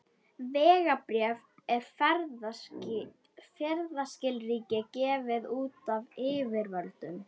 Vegabréf er ferðaskilríki gefið út af yfirvöldum.